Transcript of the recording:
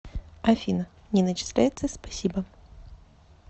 афина не начисляется спасибо